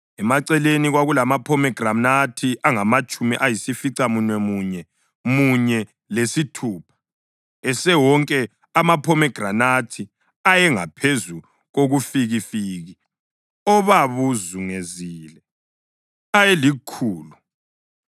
Emaceleni kwakulamaphomegranathi angamatshumi ayisificamunwemunye munye lesithupha; esewonke amaphomegranathi ayengaphezu kobufikifiki obabuzungezile, ayelikhulu.